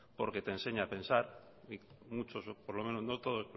porque te enseña a pensar y muchos por lo menos no todos